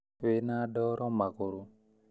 Wĩna ndoro magũrũ